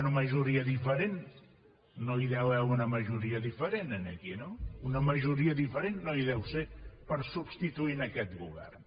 una majoria diferent no hi deu haver una majoria diferent aquí no una majoria diferent no hi deu ser per substituir aquest govern